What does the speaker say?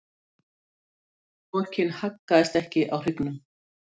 Pokinn haggaðist ekki á hryggnum.